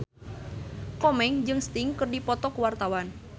Komeng jeung Sting keur dipoto ku wartawan